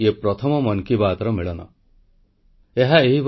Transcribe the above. • ପରୀକ୍ଷା ଓ ଶୀତ ଋତୁରେ ଫିଟନେସ ଉପରେ ଗୁରୁତ୍ୱ ଦେବାକୁ ପରାମର୍ଶ